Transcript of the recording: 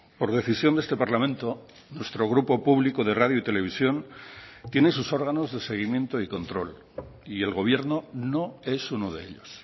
por decisión de este parlamento nuestro grupo público de radio y televisión tiene sus órganos de seguimiento y control y el gobierno no es uno de ellos